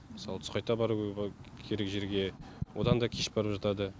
мысалы түс қайта баруға керек жерге одан да кеш барып жатады